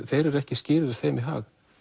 þeir eru ekki skýrir þeim í hag